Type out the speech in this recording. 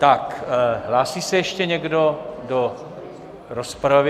Tak hlásí se ještě někdo do rozpravy?